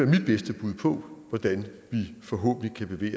mit bedste bud på hvordan vi forhåbentlig